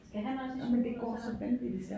Skal han også i skole og så